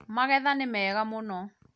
magetho nĩ mega mũno